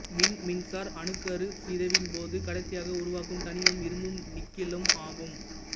விண்மீன்சார் அணுக்கருச் சிதைவின் போது கடைசியாக உருவாகும் தனிமம் இரும்பும் நிக்கலும் ஆகும்